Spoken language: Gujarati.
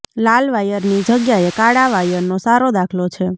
લાલ વાયરની જગ્યાએ કાળા વાયરનો સારો દાખલો છે